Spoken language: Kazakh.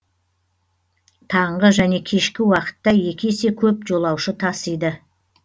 таңғы және кешкі уақытта екі есе көп жолаушы тасиды